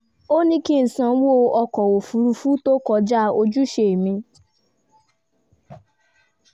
ó ní kí n sanwó ọkọ òfuurufú tó kọjá ojúṣe mi